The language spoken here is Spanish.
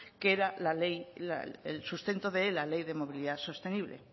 que era el sustento de la ley de movilidad sostenible